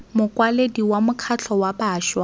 mokwaledi wa mokgatlho wa bašwa